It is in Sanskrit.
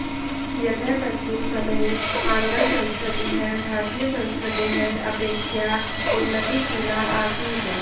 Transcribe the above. यतः तस्मिन् समये आङ्ग्लसंस्कृतिः भारतीयसंस्कृतेः अपेक्षया उन्नतिशीला आसीत्